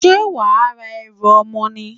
Ṣé wàá ra ẹrù ọmọ ni?